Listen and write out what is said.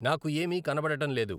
నాకు ఏమీ కనబడటం లేదు